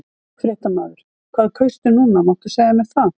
Fréttamaður: Hvað kaustu núna, máttu segja mér það?